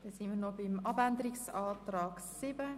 Wir kommen zum Änderungsantrag 7.